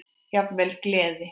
Jafnvel gleði.